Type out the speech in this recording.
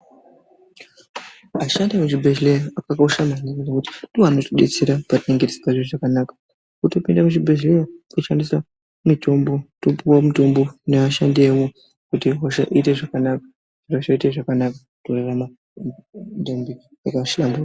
Vashandi vezvibehlera ndivo vanotidetsera patinenge tisingazwi zvakanaka . Kuti tipinde muzvibehlera kutoshandisa mitombo topuwa mitombo nevashandi vemwo kuti hosha iite zvakanaka torarama .